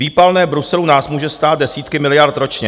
Výpalné Bruselu nás může stát desítky miliard ročně.